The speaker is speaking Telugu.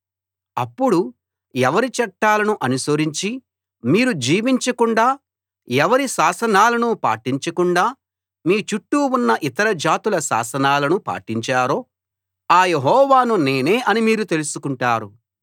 అప్పుడు ఎవరి చట్టాలను అనుసరించి మీరు జీవించకుండా ఎవరి శాసనాలను పాటించకుండా మీ చుట్టూ ఉన్న ఇతర జాతుల శాసనాలను పాటించారో ఆ యెహోవాను నేనే అని మీరు తెలుసుకుంటారు